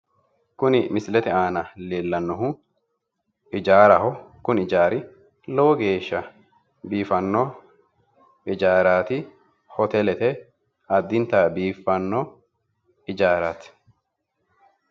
Kuni misilete aana leellannohu ijaaraho. Kuni ijaari lowo geessha biifanno ijaaraati. Hoteeelete addinta biifanno ijaarati.